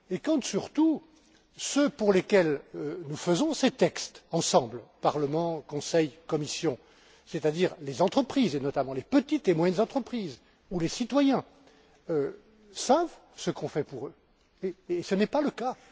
C'est surtout le cas quand ceux pour lesquels nous faisons ces textes ensemble Parlement, Conseil, Commission c'est à dire les entreprises, et notamment les petites et moyennes entreprises, ou les citoyens, savent ce qu'on fait pour eux, et ce n'est pas le cas.